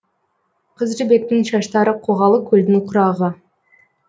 қыз жібектің шаштары қоғалы көлдің құрағы